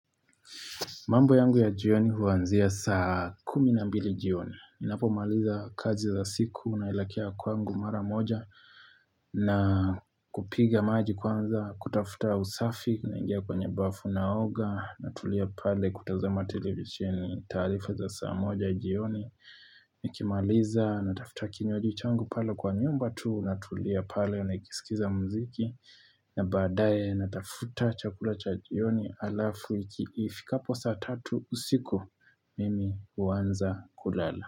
Mambo yangu ya jioni huanzia saa kuminambili jioni ninapo maaliza kazi za siku naelekea kwangu mara moja na kupiga maji kwanza kutafuta usafi na ingia kwenye bafu naoga natulia pale kutazama televisheni tarifa za saa moja jioni Nikimaliza natafuta kinywaji changu pale kwa nyumba tu Natulia pale na ikisikiza mziki na badaye natafuta chakula cha jioni alafu ikifika hapo saa tatu usiku mimi uanza kulala.